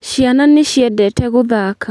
Ciana nĩ ciendete gũthaka